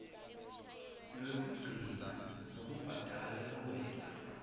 lwekugcina lwekubhadala luwela